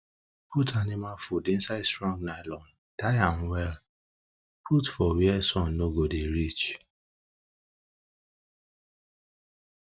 put anima food inside strong nylon tie am well put for where sun no go reach